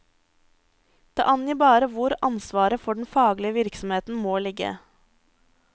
Det angir bare hvor ansvaret for den faglige virksomheten må ligge.